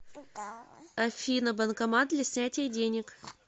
афина банкомат для снятия денег